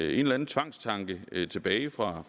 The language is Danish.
eller anden tvangstanke tilbage fra